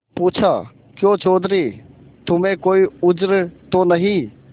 पूछाक्यों चौधरी तुम्हें कोई उज्र तो नहीं